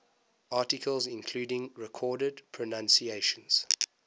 articles including recorded pronunciations